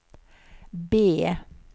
B